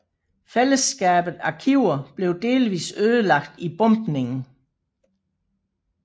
Fællesskabets arkiver blev delvis ødelagt i bombningen